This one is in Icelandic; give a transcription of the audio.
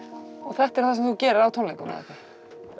þetta er það sem þú gerir á tónleikum